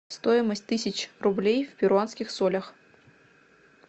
стоимость тысяч рублей в перуанских солях